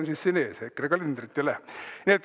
Aga hoian siin kinda ees EKRE kalendrit ja lähen.